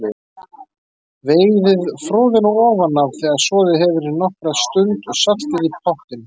Veiðið froðuna ofan af, þegar soðið hefur í nokkra stund, og saltið í pottinn.